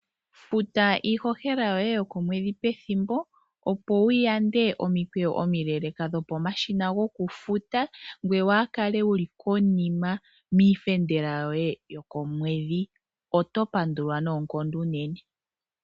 Futa iihohela yoye yokomwedhi pethimbo, opo wuyande omikweyo omileleeka dhokomashina gokufuta, ngoye waa kale wuli konima, miifendela yoye yokomwedhi. Oto pandulwa noonkondo unene.